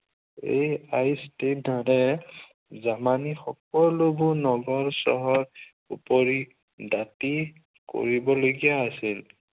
এই দৰে জামানীৰ সকলোবোৰ নগৰ চহৰ ওপৰি দাতি কৰিবলগীয়া আছে।